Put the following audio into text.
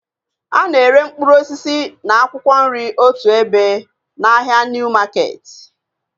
A na-ere mkpụrụ osisi na akwụkwọ nri otu ebe na ahịa Niu maketi